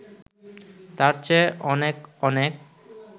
তার চেয়ে অনেক অনেক